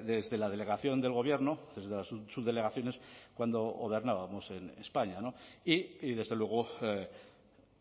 desde la delegación del gobierno desde las subdelegaciones cuando gobernábamos en españa y desde luego